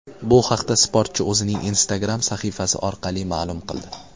Bu haqda sportchi o‘zining Instagram sahifasi orqali ma’lum qildi .